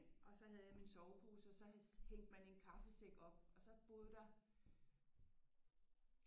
Og så havde jeg min sovepose og så hængte man en kaffesæk op og så boede der